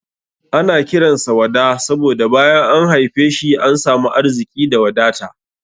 Ana kiran sa Wada saboda bayan an haife shi an samu arziki da wadata.